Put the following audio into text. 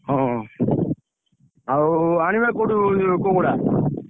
ହଁ ଆଉ ଆଣିବା କୋଉଠୁ କୁକୁଡ଼ା?